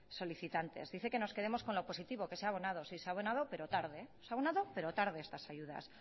solicitantes dice que nos quedemos con lo positivo que se ha abonado sí se ha abonado pero tarde estas ayudas